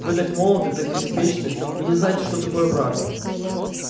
вы так молоды так беспечны вы не знаете что такое брак